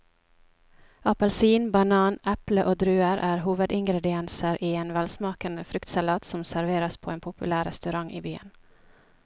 Appelsin, banan, eple og druer er hovedingredienser i en velsmakende fruktsalat som serveres på en populær restaurant i byen.